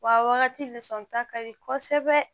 Wa wagati lisɔn ta ka di kosɛbɛ